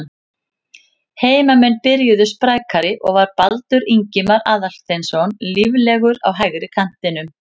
Heimamenn byrjuðu sprækari og var Baldur Ingimar Aðalsteinsson líflegur á hægri kantinum.